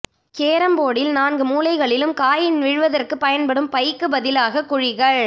carrom போர்டில் நான்கு மூலைகளிலும் காயின் விழுவதற்கு பயன்படும் பைக்கு பதிலாக குழிகள்